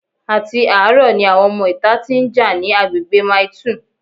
Àti àárọ̀ ni àwọn ọmọ ìta tí ń jà ní agbègbè Mile 2